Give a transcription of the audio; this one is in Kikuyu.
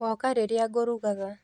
Woka rĩrĩa ngũrugaga